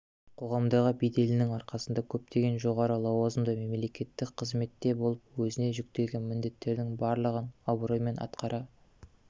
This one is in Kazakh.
қоғамдағы беделінің арқасында көптеген жоғары лауазымды мемлекеттік қызметте болып өзіне жүктелген міндеттердің барлығын абыроймен атқара